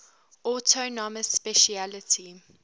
autonomous specialty